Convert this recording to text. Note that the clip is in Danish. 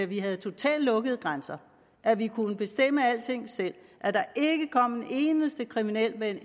vi havde totalt lukkede grænser at vi kunne bestemme alting selv at der ikke kom en eneste kriminel med